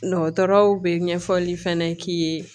Dɔgɔtɔrɔw bɛ ɲɛfɔli fɛnɛ k'i ye